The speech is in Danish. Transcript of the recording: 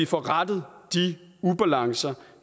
får rettet de ubalancer